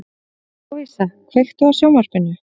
Lovísa, kveiktu á sjónvarpinu.